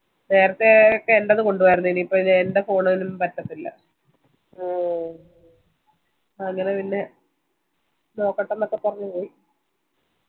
നേരത്തെ എന്ടെത് കൊണ്ടുവായിരുന്നു ഇനി എന്റെ phone പറ്റത്തില്ല അങ്ങനെ പിന്നെ നോക്കട്ട്ന് പറഞ്ഞു പോയി